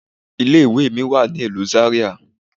Ilé ìwé mi wà ní ìlú Zaria.